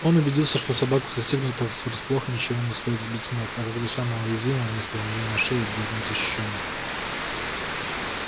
он убедился что собаку застигнутую врасплох ничего не стоит сбить с ног а когда самое уязвимое место у нее на шее будет незащищенным